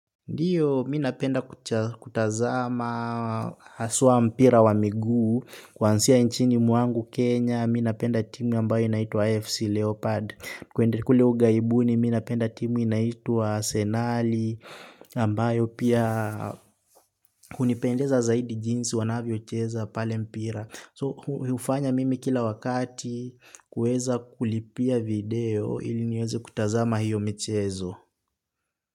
Ndiyo mimi napenda kutazama haswa mpira wa miguu kwanzia nchini mwangu kenya mimi napenda timu ambayo inaitwa AFC Leopard kule ughaibuni mimi napenda timu inaitwa Arsenali ambayo pia hunipendeza zaidi jinsi wanavyo cheza pale mpira. So hufanya mimi kila wakati kueza kulipia video ili niweze kutazama hiyo michezo.